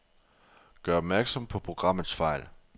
Gør opmærksom på programmets fejl.